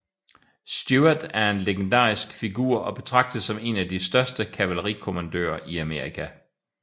Stuart en legendarisk figur og betragtes som en af de største kavalerikommandører i Amerika